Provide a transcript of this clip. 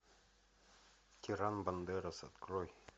тиран бандерас открой